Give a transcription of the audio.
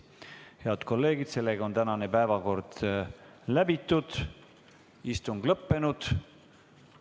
Head kolleegid, tänane päevakord on läbitud, istung on lõppenud.